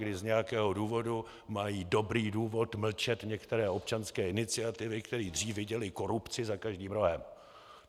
Kdy z nějakého důvodu mají dobrý důvod mlčet některé občanské iniciativy, které dřív viděly korupci za každým rohem.